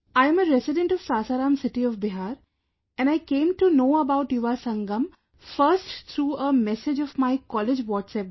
I am a resident of Sasaram city of Bihar and I came to know about Yuva Sangam first through a message of my college WhatsApp group